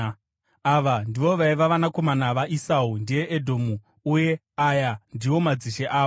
Ava ndivo vaiva vanakomana vaEsau (ndiye Edhomu) uye aya ndiwo madzishe avo.